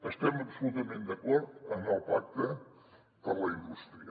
estem absolutament d’acord amb el pacte per a la indústria